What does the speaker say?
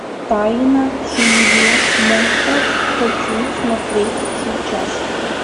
тайна семьи монстров хочу смотреть сейчас